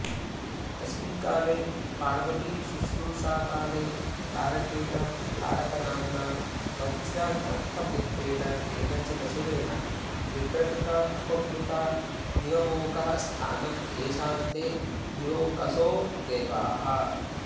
तस्मिन्काले पार्वतीशुश्रूषाकाले तारकेण तारकनाम्ना वज्रणखपुत्रेण केनचिदसुरेण विप्रकृता उपप्लुता दिवमोकः स्थानं येषां ते दिवौकसो देवाः